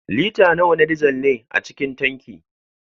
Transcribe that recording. Lita nawa na dizal ne a cikin tanki?